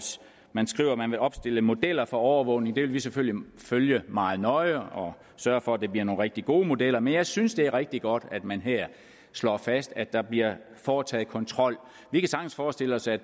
man skriver at man vil opstille modeller for overvågning det vil vi selvfølgelig følge meget nøje og sørge for at det bliver nogle rigtig gode modeller men jeg synes at det er rigtig godt at man her slår fast at der bliver foretaget en kontrol vi kan sagtens forestille os at